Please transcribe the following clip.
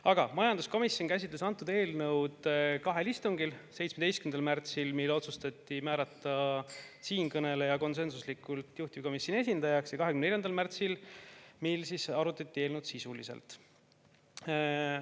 Aga majanduskomisjon käsitles antud eelnõu kahel istungil: 17. märtsil, mil konsensuslikult otsustati määrata siinkõneleja juhtivkomisjoni esindajaks, ja 24. märtsil, mil arutati eelnõu sisuliselt.